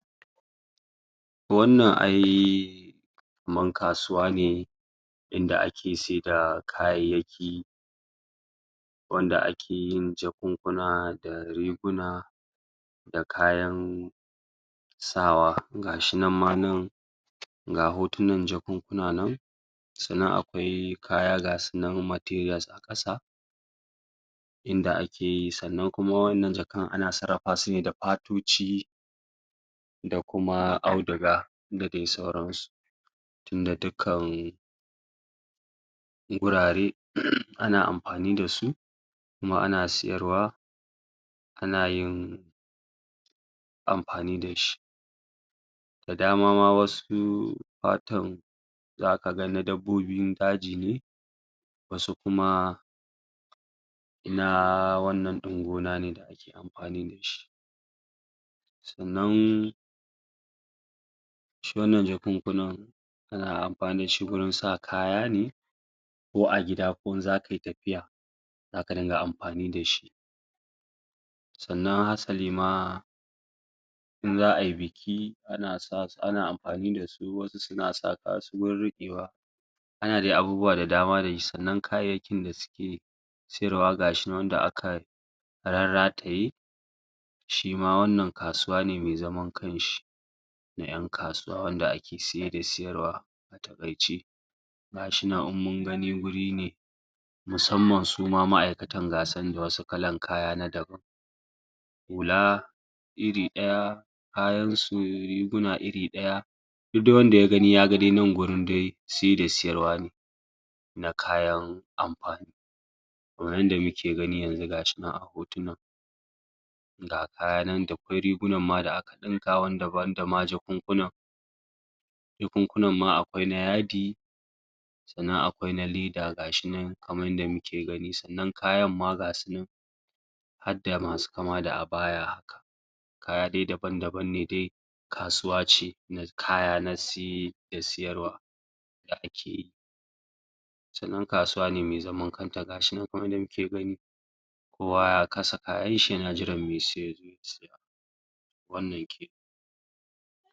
Wannan ai kaman kasuwane inda ake saida, kayayyaki, gunda ake yin jakunkuna da riguna, da kayan sawa, ga shi ma nan ga hotunan jakunkuna nan ga su nan akwai kaya materials a ƙasa, inda akeyi sannan kuma wanna jkan ana sarafa sune da fatoci, da kuma audiga, da dai sauransu. Tunda dukan gurare, ana am, fani da su, kuma ana sayarwa, anayin, amfani da shi, da dama ma wasu, fatun za ka ga na dabbobin daji ne, wasu kuma, na wannan ɗin gona ne dake amfanida shi sannan shi wannan jakunkunan ana amfani da shi gurin sa kaya ne, ko a gida ko in za kai tafiya, zaka tunga amfani da shi, sannan hasali ma, in za ai buki ma ana amfani da su wasu suna sa riƙewa, ana dai abubuwa da dama da shi sannan kayayyakin da suke sayarwa gashi nan wanda aka rarrataye, shi ma wannan kasuwa ne mai zaman kan shi, na 'yan kasuwa wanda ake saye da sayarwa a taƙaice. ga shi nan in mun ganiwuri ne musamman suma ma'aikatan ga su nan da wani klan kaya na dabam. Hula, iri ɗaya, kayansu, riguna iri ɗaya, duk dai wanda ya gani dai ya gani nan gurin dai, siye da siyarwa ne, na kayan amfani. To yanda muke gani yanzu ga shi nan a hotunan, ga kaya nan dakwai rigunan ma da aka ɗinka banda ma jakunkunan. Jakunkunan ma akwai na yadi, sanan akwai na leda ga shi nan kamar yadda muke gani sannan kayan ma ga su nan, hadda masu kama da abaya, kaya dai dabam-dabam ne dai, kasuwace na kaya na siye da siyarwa, da ak. Gatanan kasuwane me zaman kanta, ga shi nan kamar yadda muke gani, kowa ya kasa kayan shi yan jiran me siye ya zo ya siya. wannan kenan.